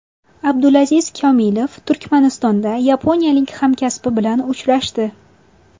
Abdulaziz Komilov Turkmanistonda yaponiyalik hamkasbi bilan uchrashdi.